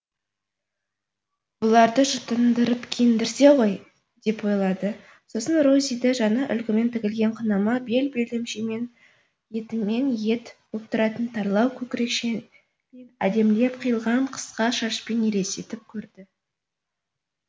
бұларды жұтындырып киіндірсе ғой деп ойлады сосын розиді жаңа үлгімен тігілген қынама бел белдемшемен етімен ет боп тұратын тарлау көкірекшемен әдемілеп қиылған қысқа шашпен елестетіп көрді